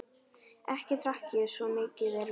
Ekki drekk ég það, svo mikið er víst.